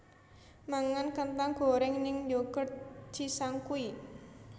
Mangan kentang goreng ning Yoghurt Cisangkuy